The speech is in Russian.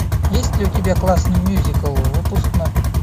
есть ли у тебя классный мюзикл выпускной